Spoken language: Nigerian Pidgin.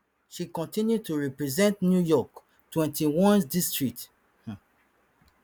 she continue to represent new york twenty-onest district um